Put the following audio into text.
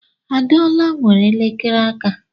Adeola nwere elekere aka.